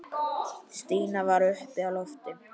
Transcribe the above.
Stína var uppi á lofti.